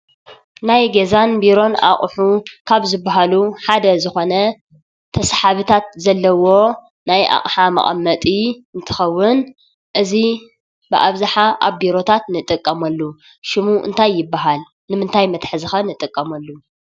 ናይ ገዛን ቢሮን ኣቑሑት ካብ ዝባሃሉ ሓደ ዝኾነ ተሰሓብታት ዘለውዎ ናይ ኣቕሓ መቐመጢ እንትኸውን እዚ ብኣብዝሓ ኣብ ቢሮታት ንጥቀመሉ ሽሙ እንታይ ይባሃል? ንምንታይ መትሓዚ ኸ ንጥቀመሉ?